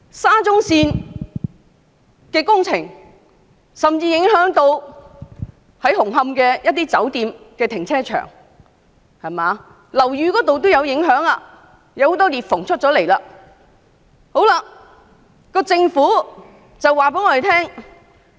沙中線工程甚至影響到紅磡一些酒店的停車場，而樓宇亦受影響，出現多道裂縫。